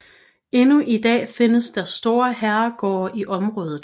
Endnu i dags findes der store herregårde i området